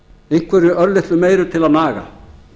einhverju örlitlu meiru til að naga